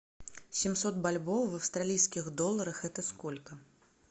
семьсот бальбоа в австралийских долларах это сколько